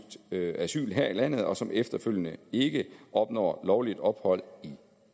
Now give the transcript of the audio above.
søgt asyl her i landet og som efterfølgende ikke opnår lovligt ophold i